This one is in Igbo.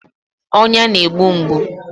Ọnya na-egbu mgbu